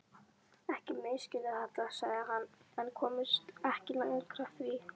Ekki misskilja þetta, sagði hann en komst ekki lengra því